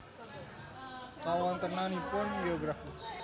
Kawontenanipun Geografis